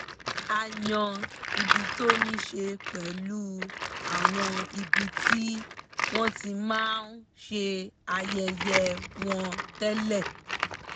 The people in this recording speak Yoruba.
a yan ibi tó níṣe pẹ̀lú àwọn ibi tí wọ́n ti máa ń ṣe ayẹyẹ wọn tẹ́lẹ̀